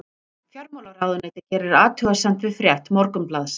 Fjármálaráðuneytið gerir athugasemd við frétt Morgunblaðsins